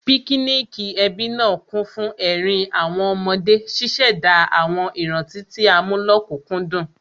Píkíníìkì ẹbí náà kún fún ẹ̀rín àwọn ọmọdé, ṣíṣẹ̀dá àwọn ìrántí tí a mú lókùkúndùn